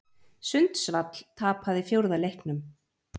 Sundsvall tapaði fjórða leiknum